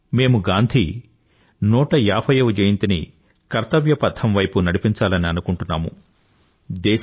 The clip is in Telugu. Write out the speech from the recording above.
కానీ మేము గాంధీ 150 ని కర్తవ్యపథం వైపు నడిపించాలని అనుకుంటున్నాము